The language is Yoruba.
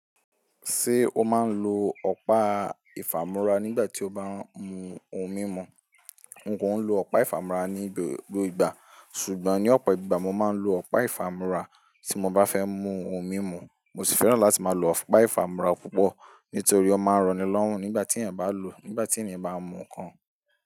Ṣé o máa ń lo ọ̀pá ìfàmúrà nígbà tí o bá ń mu ohun mímu? N kò ń lo ọ̀pá ìfàmúrà ní gbogbo ìgbà, ṣùgbọ́n ní ọ̀pọ̀ ìgbà mo máa ń lo ọ̀pá ìfàmúrà tí mo bá fẹ́ mu ohun mímu. Mo sì fẹ́ràn láti máa lo ọ̀pá ìfàmúrà púpọ̀ nítorí ó máa ń ranilọ́rùn nígbà tí èèyàn bá ń lo, nígbà tí ènìyàn bá ń mu nǹkan.